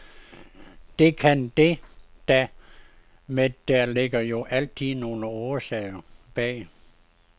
Det kan det da, med der ligger jo altid nogle årsager bag.